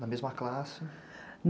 Na mesma classe?